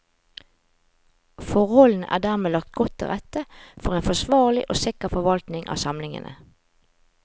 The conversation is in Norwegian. Forholdene er dermed lagt godt til rette for en forsvarlig og sikker forvaltning av samlingene.